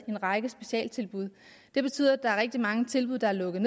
en række specialtilbud det betyder at der er rigtig mange tilbud der er lukket